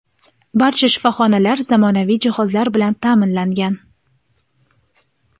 Barcha shifoxonalar zamonaviy jihozlar bilan taʼminlangan.